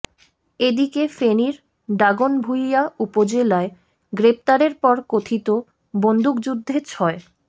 এদিকে ফেনীর দাগনভুঁইয়া উপজেলায় গ্রেপ্তারের পর কথিত বন্দুকযুদ্ধে ছয়